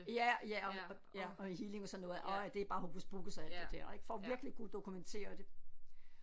Ja ja og og og healing og sådan noget og at det er bare hokus pokus og alt det der ik for virkelig at kunne dokumentere det